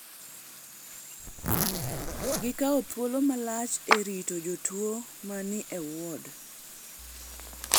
Gikawo thuolo malach e rito jotuwo ma ni e ward.